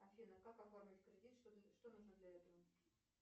афина как оформить кредит что нужно для этого